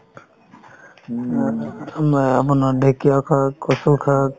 উম আ~ আ~ আমা~ আপোনাৰ ঢেঁকীয়া শাক, কচু শাক